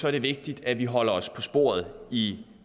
er det vigtigt at vi holder os på sporet i